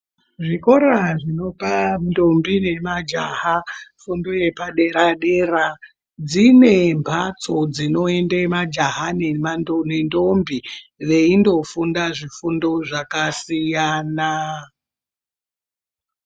Zvikora zvinopa ndombi nemajaha funda yepadera dera dzine mbatso dzinoende majaha nema nendombi veindo funda zvifundo zvakasiyana.